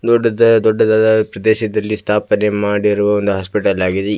ದೊಡ್ಡದ್ ದೊಡ್ಡದಾದ ಪ್ರದೇಶದಲ್ಲಿ ಸ್ಥಾಪನೆ ಮಾಡಿರುವ ಒಂದು ಹಾಸ್ಪಿಟಲ್ ಆಗಿದೆ.